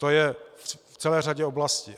To je v celé řadě oblastí.